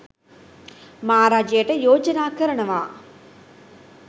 මා රජයට යෝජනා කරනවා